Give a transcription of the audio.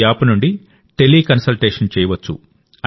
ఈ యాప్ నుండి టెలికన్సల్టేషన్ చేయవచ్చు